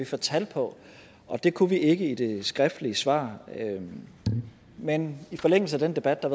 få tal på og det kunne vi ikke i det skriftlige svar men men i forlængelse af den debat der